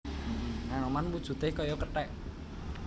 Anoman wujudé kaya kethèk